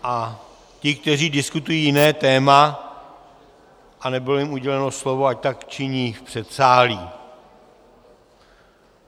A ti, kteří diskutují jiné téma a nebylo jim uděleno slovo, ať tak činí v předsálí.